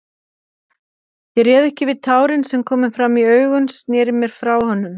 Ég réð ekki við tárin sem komu fram í augun, sneri mér frá honum.